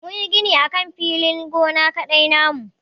Mun yi gini akan filin gona na kaɗada na mu.